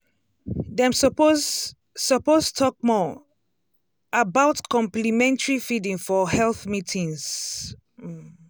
dem suppose suppose talk more um about complementary feeding for health meetings. um